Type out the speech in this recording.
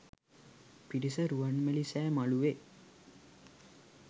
පිරිස රුවන්මැලි සෑ මලුවේ